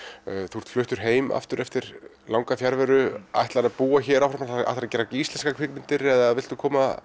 þú ert fluttur heim aftur eftir langa fjarveru ætlarðu að búa hér áfram ætlaru að gera íslenskar kvikmyndir eða viltu koma